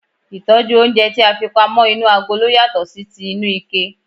Ìtójú oúnje ti a fi pamó inú agolo yàtò sí ti inú ike